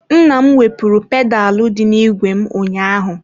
Nna m wepụrụ pedalụ dị n'ìgwè m ụnyaahụ.